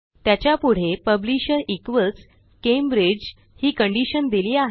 त्याच्यापुढे publisher equals Cambridge ही condition दिली आहे